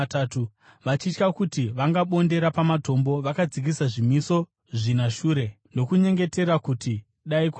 Vachitya kuti vangabondera pamatombo, vakadzikisa zvimiso zvina shure, ndokunyengetera kuti dai kwaedza.